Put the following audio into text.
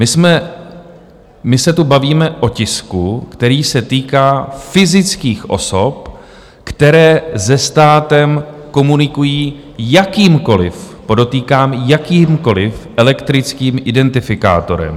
My se tu bavíme o tisku, který se týká fyzických osob, které se státem komunikují jakýmkoliv, podotýkám, jakýmkoliv elektrickým identifikátorem...